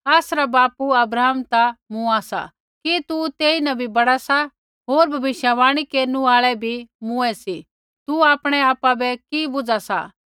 आसरा बापू अब्राहम ता मौरू सा कि तू तेईन भी बड़ा सा होर भविष्यवाणी केरनु आल़ै भी मौरै सी तू आपणै आपा बै कि बुझा सा